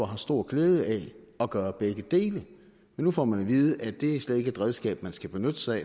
har stor glæde af at gøre begge dele men nu får man at vide at det slet ikke er et redskab man skal benytte sig